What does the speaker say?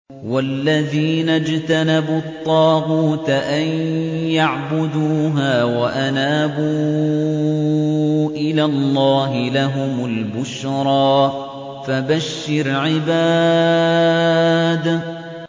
وَالَّذِينَ اجْتَنَبُوا الطَّاغُوتَ أَن يَعْبُدُوهَا وَأَنَابُوا إِلَى اللَّهِ لَهُمُ الْبُشْرَىٰ ۚ فَبَشِّرْ عِبَادِ